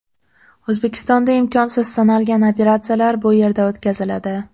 O‘zbekistonda imkonsiz sanalgan operatsiyalar bu yerda o‘tkaziladi.